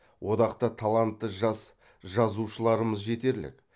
одақта талантты жас жазушыларымыз жетерлік